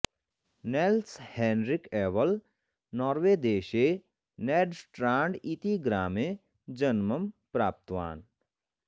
nails Henrik Abel Norway देशे Nedstrand इति ग्रामे जन्मं प्राप्तवान्